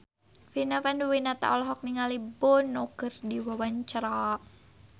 Vina Panduwinata olohok ningali Bono keur diwawancara